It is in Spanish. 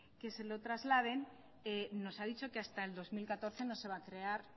que se lo trasladen nos ha dicho que hasta el dos mil catorce no se va a crear